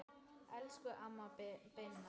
Elsku amma Binna.